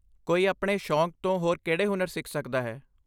ਕੋਈ ਆਪਣੇ ਸ਼ੌਕ ਤੋਂ ਹੋਰ ਕਿਹੜੇ ਹੁਨਰ ਸਿੱਖ ਸਕਦਾ ਹੈ?